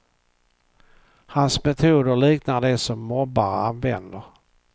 Hans metoder liknar de som mobbare använder.